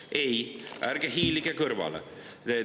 Ei, ärge hiilige kõrvale!